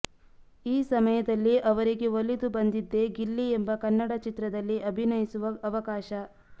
ಈ ಸಮಯದಲ್ಲಿ ಅವರಿಗೆ ಒಲಿದು ಬಂದಿದ್ದೇ ಗಿಲ್ಲಿ ಎಂಬ ಕನ್ನಡ ಚಿತ್ರದಲ್ಲಿ ಅಭಿನಯಿಸುವ ಅವಕಾಶ